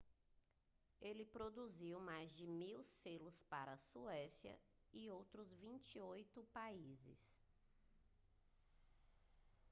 ele produziu mais de 1.000 selos para a suécia e outros 28 países